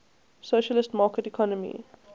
socialist market economy